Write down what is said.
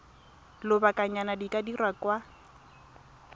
lobakanyana di ka dirwa kwa